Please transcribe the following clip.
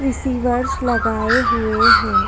Receivers लगाये हुए है।